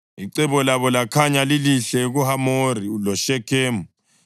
Icebo labo lakhanya lilihle kuHamori loShekhemu.